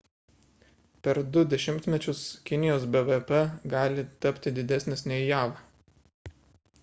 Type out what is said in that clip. per 2 dešimtmečius kinijos bvp gali tapti didesnis nei jav